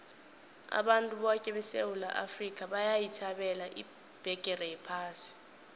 abantu boke besewula bayithabela ibheqere yephasi